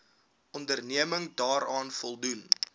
onderneming daaraan voldoen